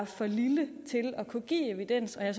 for lille til at kunne give evidens og jeg